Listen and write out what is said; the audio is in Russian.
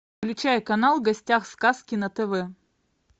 включай канал в гостях у сказки на тв